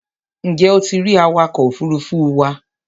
Ǹjẹ́ o ti rí awakọ̀ òfuruufú wa?